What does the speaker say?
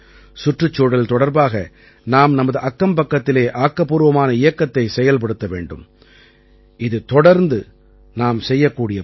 சுற்றுச்சூழல் தொடர்பாக நாம் நமது அக்கம்பக்கத்திலே ஆக்கப்பூர்வமான இயக்கத்தைச் செயல்படுத்த வேண்டும் இது தொடர்ந்து நாம் செய்யக்கூடிய பணி